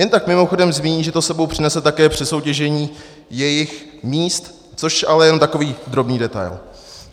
Jen tak mimochodem zmíní, že to s sebou přinese také přesoutěžení jejich míst, což ale je jenom takový drobný detail.